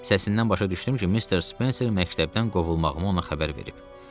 Səsindən başa düşdüm ki, Missis Spencer məktəbdən qovulmağımı ona xəbər verib.